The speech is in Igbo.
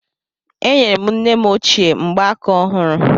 Enyere m nne m ochie mgbaaka ọhụrụ